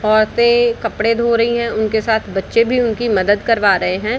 औरतें कपड़े धो रही है उनके साथ बच्चे भी उनकी मदद करवा रहे हैं।